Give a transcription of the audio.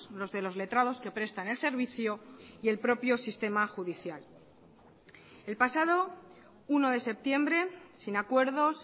los de los letrados que prestan el servicio y el propio sistema judicial el pasado uno de septiembre sin acuerdos